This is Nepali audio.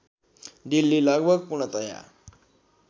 दिल्ली लगभग पूर्णतया